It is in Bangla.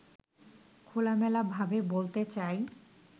খোলামেলাভাবে বলতে চাই